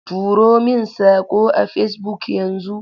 Turo min saƙo a Facebook yanzu!